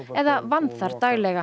eða vann þar daglega